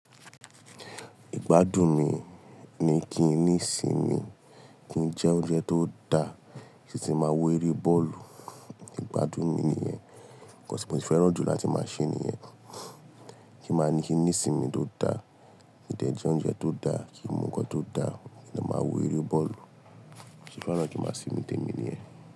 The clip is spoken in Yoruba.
Ìgbádùn mi ni kí n ní sì mi, kí n jẹ oúnjẹ tó da, kí n sì máa wo eré bọ́ọ̀lù. Ìgbádùn mi nìyẹn. Nkan tí mo sì fẹ́ràn jù láti ma ṣe nìyẹn. Kí ma ní kin ní ìsinmi tó da, kí n dẹ̀ jẹ oúnjẹ tó da, kí n mu nkan tó da, kí n dẹ̀ ma wo eré bọ́ọ̀lù. Bí mo ṣe fẹ́ràn kí n ma sinmi tèmi nìyẹn.